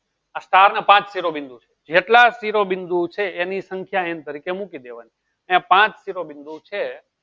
આ ચાર ને પાચ શિરોબિંદુ છે જેટલા શિરોબિંદુ છે એની સંખ્યા n તરીકે મૂકી દેવાની. ત્યાં પાચ શિરોબિંદુ છે